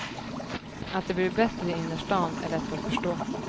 Att det blir bättre i innerstan är lätt att förstå.